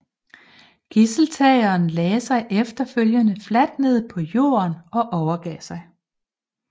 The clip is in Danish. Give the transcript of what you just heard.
Gidseltageren lagde sig efterfølgende fladt ned på jorden overgav sig